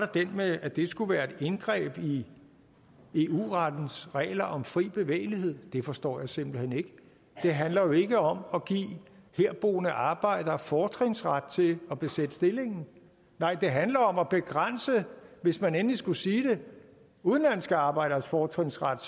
det med at det skulle være et indgreb i eu rettens regler om fri bevægelighed det forstår jeg simpelt hen ikke det handler jo ikke om at give herboende arbejdere fortrinsret til at besætte stillingen nej det handler om at begrænse hvis man endelig skulle sige det udenlandske arbejderes fortrinsret